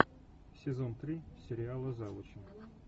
сезон три сериала завучи